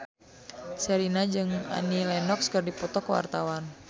Sherina jeung Annie Lenox keur dipoto ku wartawan